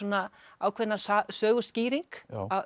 ákveðna söguskýring